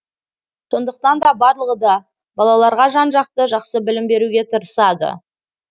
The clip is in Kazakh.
сондықтан да барлығы да балаларға жан жақты жақсы білім беруге тырысады